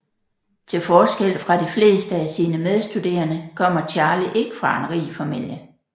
Til forskel fra de fleste af sine medstuderende kommer Charlie ikke fra en rig familie